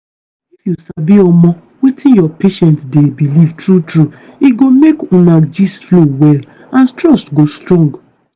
if you sabi omo wetin your patient dey believe true true e go make una gist flow well and trust go strong.